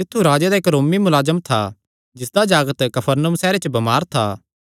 तित्थु राजे दा इक्क रोमी मुलाजम था जिसदा जागत कफरनहूम सैहरे च बमार था